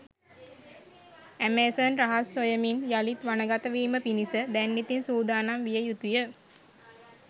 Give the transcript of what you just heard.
Amazon රහස් සොයමින් යළිත් වනගත වීම පිණිස දැන් ඉතින් සූදානම් විය යුතුය.